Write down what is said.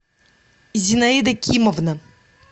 зинаида кимовна